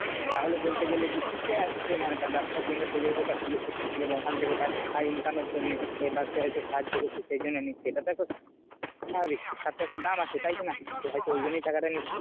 তাহলে বলতে গেলে কি ঠিকই আছে মানে তার ব্যাবসার জন্য সে যেহেতু এটা খুলেছে। যেমন ওখান থেকে তার আয় income এর জন্যে তাই ব্যাবসায় এসে সাহায্য করছে সে জন্য নিচ্ছে। এটা তো একটা স্বাভাবিক শিক্ষারতো একটা দাম আছে তাই কিনা তো হয়তো ওই জন্যে টাকা টা নিচ্ছে।